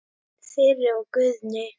Þyri og Guðni.